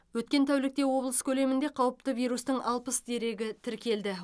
өткен тәулікте облыс көлемінде қауіпті вирустың алпыс дерегі тіркелді